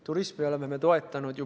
Turismi me oleme ju toetanud.